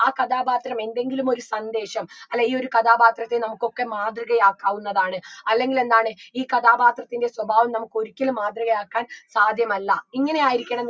ആ കഥാപാത്രം എന്തെങ്കിലും ഒരു സന്ദേശം അല്ല ഈ ഒരു കഥാപാത്രത്തെ നമുക്കൊക്കെ മാതൃകയാക്കാവുന്നതാണ് അല്ലെങ്കിൽ എന്താണ് ഈ കഥാപാത്രത്തിൻറെ സ്വഭാവം നമുക്കൊരിക്കലും മാതൃകയാക്കാൻ സാധ്യമല്ല ഇങ്ങനെയായിരിക്കണം